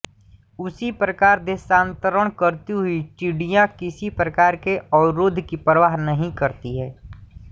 उसी प्रकार देशांतरण करती हुई टिड्डियाँ किसी प्रकार के अवरोध की परवाह नहीं करतीं